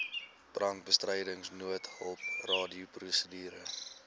brandbestryding noodhulp radioprosedure